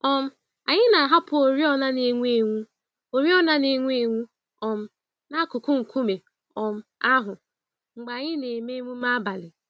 um Anyị na-ahapụ oriọna n'enwu-enwu oriọna n'enwu-enwu um n'akụkụ nkume um ahụ mgbe anyị na-eme emume abalị.